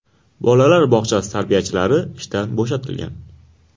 Bolalar bog‘chasi tarbiyachilari ishdan bo‘shatilgan.